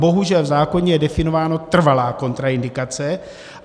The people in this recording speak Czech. Bohužel v zákoně je definováno - trvalá kontraindikace.